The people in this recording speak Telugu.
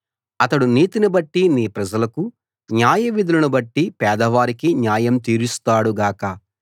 అతడు నీతిని బట్టి నీ ప్రజలకు న్యాయవిధులను బట్టి పేదవారికి న్యాయం తీరుస్తాడు గాక